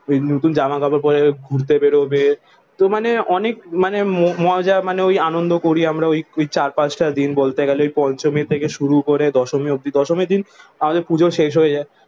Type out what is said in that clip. নতুন জামা কাপড় পড়ে ঘুরতে বেরোবে। তো মানে অনেক মানে মজা মানে ওই আনন্দ করি আমরা ওই চার-পাঁচটা দিন বলতে গেলে ওই পঞ্চমী থেকে শুরু করে দশমী অব্দি। দশমীর দিন আমাদের পুজো শেষ হয়ে যায়।